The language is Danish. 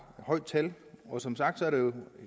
højt tal og som sagt er der